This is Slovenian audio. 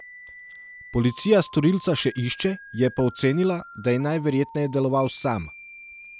Policija storilca še išče, je pa ocenila, da je najverjetneje deloval sam.